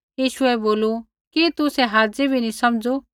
यीशुऐ बोलू कि तुसै हाज़ी भी नी समझ़ू